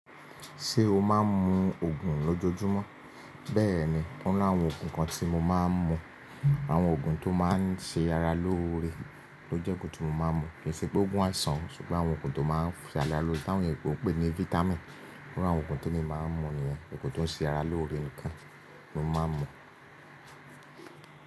Ṣé o máa ń mu ògùn lójojúmọ́? Bẹ́ẹ̀ ni, ó ní àwọn ògùn kan tí mo máa ń mu. Àwọn Ògùn tó máa ń ṣe ara lóore ni ó jẹ́ ogun tí mo máa ń mu. Kì í ṣe pé ògùn á san, ṣùgbọ́n àwọn Ògùn tó máa ń ṣe ara lóore, táwọn èyínbó ń pè ní fáítámì. Ó ní àwọn ògùn tí mo máa ń mu ni ẹ́, èyí tó ń ṣe ara lóore nìkan ni mo máa ń mu.